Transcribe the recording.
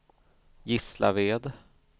Gislaved